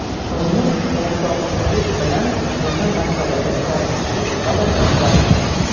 Turmush o‘rtog‘ingiz bilan nima masalada tortishib qolasizlar?